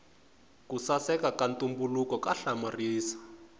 ku saseka ka ntumbuluko ka hlamarisa